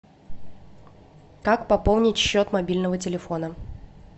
как пополнить счет мобильного телефона